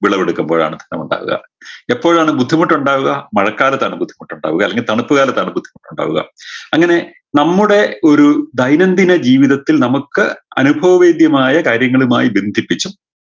വിളവെടുക്കുമ്പോഴാണ് ധനമുണ്ടാവുക എപ്പോഴാണ് ബുദ്ധിമുട്ടുണ്ടാവുക മഴക്കാലത്താണ് ബുദ്ധിമുട്ടുണ്ടാവുക അല്ലെങ്കി മഞ്ഞുകാലത്താണ് ബുദ്ധിമുട്ടുണ്ടാവുക അങ്ങനെ നമ്മുടെ ഒരു ദൈനംദിന ജീവിതത്തിൽ നമുക്ക് അനുഭവവൈദ്യമായ കാര്യങ്ങളുമായ് ബന്ധിപ്പിച്ചു